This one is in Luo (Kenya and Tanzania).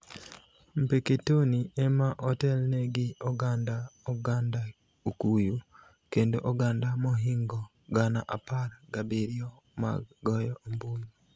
Mpeketoni ema otelne gi oganda oganda Okuyu, kendo oganda mohingo gana apar gabiriyo mag goyo ombulu